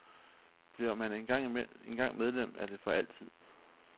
Bliver man en gang medlem, er det for altid.